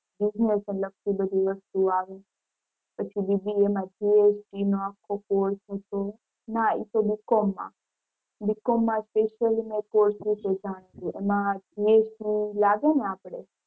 business ને લગતી બધી વસ્તુ આવે. પછી BBA માં GST નો આખો course હતો ના એ તો Bcom માં Bcom માં special એના course વિશે . એમાં GST લાગે ને આપણે. business ને લગતી બધી વસ્તુ ઓ આવે.